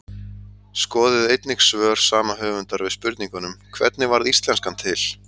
Skoðið einnig svör sama höfundar við spurningunum: Hvernig varð íslenskan til?